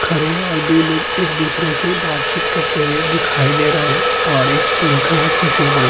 खड़े हैं और दो लोग एक-दूसरे से बातचीत करते हुए दिखाई दे रहे हैं और एक पंखा है सफेद रंग का --